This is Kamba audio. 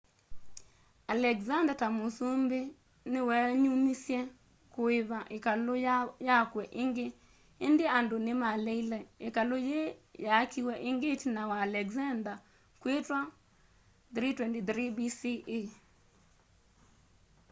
alexander ta musumbi ni weenyumisye kuipa ikalu yakwe ingi indi andu ni maleile ikalu yii yaakiwe ingi itina wa alexander kwitwa 323 bce